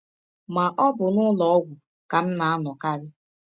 Ma, ọ bụ n’ụlọ ọgwụ ka m na - anọkarị.